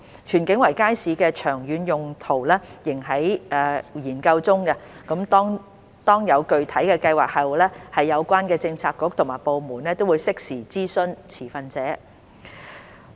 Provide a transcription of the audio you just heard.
荃景圍街市的長遠用途仍在研究中，當有具體計劃後，有關政策局及部門會適時諮詢持份者。